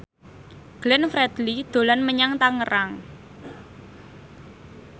Glenn Fredly dolan menyang Tangerang